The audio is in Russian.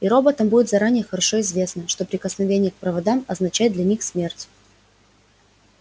и роботам будет заранее хорошо известно что прикосновение к проводам означает для них смерть